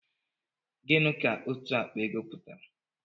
Gịnị ka òtù àkpà ego pụtara?